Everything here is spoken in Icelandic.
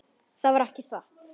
Það var ekki satt.